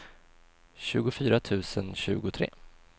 tjugofyra tusen tjugotre